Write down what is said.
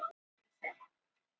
sagði hann titrandi röddu.